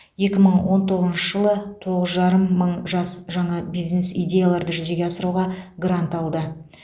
екі мың он тоғызыншы жылы тоғыз жарым мың жас жаңа бизнес идеяларды жүзеге асыруға грант алды